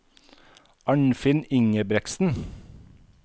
Arnfinn Ingebretsen